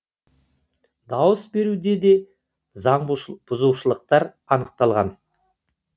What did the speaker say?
дауыс беруде де заңбұзушылықтар анықталмаған